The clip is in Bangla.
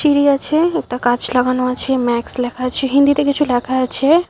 তিরি আছে একতা কাচ লাগানো আছে ম্যাক্স লেখা আছে হিন্দিতে কিছু লেখা আছে।